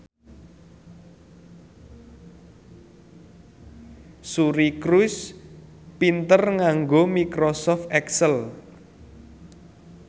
Suri Cruise pinter nganggo microsoft excel